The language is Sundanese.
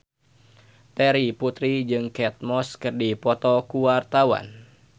Terry Putri jeung Kate Moss keur dipoto ku wartawan